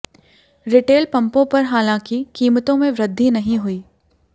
retail पंपों पर हालांकि कीमतों में वृद्धि नहीं हुई